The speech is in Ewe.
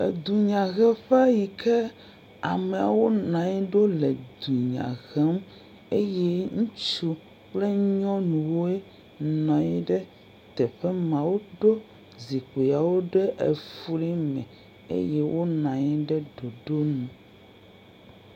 Edunyaheƒe yi ke amewo nɔ anyi ɖo le dunya hem. Eye ŋutsu kple nyɔnuwoe nɔ anyi ɖe teƒe ma. Woɖo zikpuiawo ɖe efli me eye wonɔ anyi ɖe ɖoɖo nu.